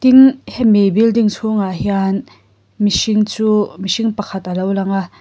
tin hemi building chhung ah hian mihring chu mihring pakhat alo lang a.